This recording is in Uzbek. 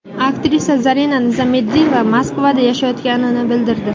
Aktrisa Zarina Nizomiddinova Moskvada yashayotganini bildirdi.